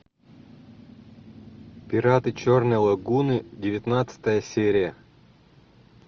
пираты черной лагуны девятнадцатая серия